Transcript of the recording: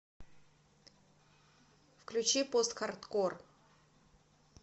включи постхардкор